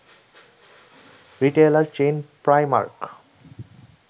retailer chain Primark